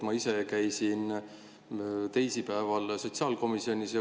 Ma ise käisin teisipäeval sotsiaalkomisjonis.